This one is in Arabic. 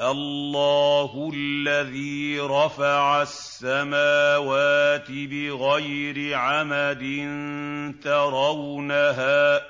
اللَّهُ الَّذِي رَفَعَ السَّمَاوَاتِ بِغَيْرِ عَمَدٍ تَرَوْنَهَا ۖ